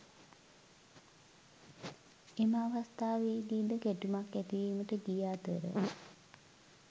එම අවස්ථාවේදී ද ගැටුමක් ඇතිවීමට ගිය අතර